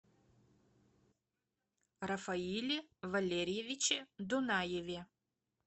рафаиле валерьевиче дунаеве